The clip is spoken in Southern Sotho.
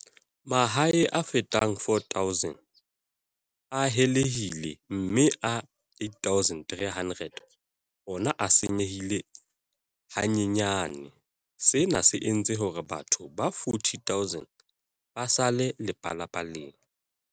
Mahae a fetang 4 000 a helehile mme a 8 300 ona a senyehile hanyenyane, sena se entse hore batho ba 40 000 ba sale lepalapaleng.